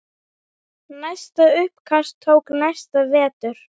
Næsta uppkast tók næsta vetur.